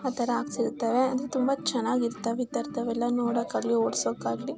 ಆತರ ಹಾಕ್ಸಿರ್ತಾರೆ ಅದು ತುಂಬಾ ಚನ್ನಾಗಿ ಇರುತ್ತವೆ ಇತರದ್ ವೆಲ್ಲ ನೋಡೊಕ್ಕೆ ಆಗ್ಲಿ ಹೊಡಿಸೊಕ್ಕೆ ಆಗ್ಲಿ --